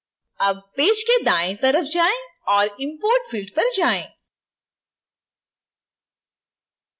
अब पेज के दाएं तरफ जाएं और import field पर जाएँ